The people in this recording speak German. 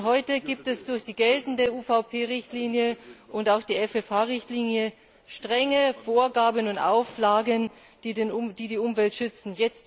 Schon heute gibt es durch die geltende UVP Richtlinie und auch die FFH Richtlinie strenge Vorgaben und Auflagen, die die Umwelt schützen.